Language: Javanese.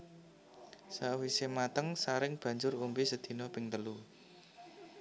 Sawisé mateng saring banjur ombe sedina ping telu